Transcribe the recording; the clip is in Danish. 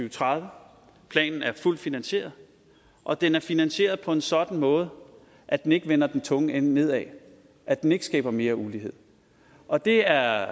og tredive planen er fuldt finansieret og den er finansieret på en sådan måde at den ikke vender den tunge ende nedad at den ikke skaber mere ulighed og det er